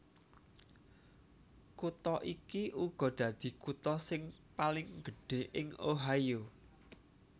Kutha iki uga dadi kutha sing paling gedhé ing Ohio